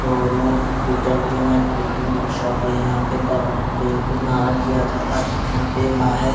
दोनों denting and painting workshop भी है यहाँ पर कारों को पैंट भी मारा किया जाता है यहाँ पर बाह--